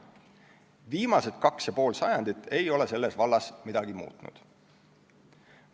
Viimased kaks ja pool sajandit ei ole selles vallas midagi muutnud.